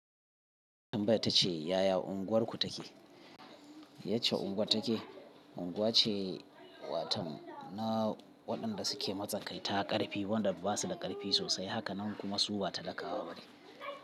Tambaya ta ce yaya unguwarku take? Yacce unguwar take. Unguwa ce waton na waɗanda suke matsakaita ƙarfi wanda ba su da ƙarfi sosai, haka nan kuma su ba talakawa bane.